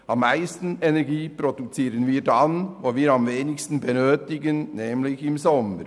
Am meisten Energie produzieren wir dann, wenn wir am wenigsten benötigen, nämlich im Sommer.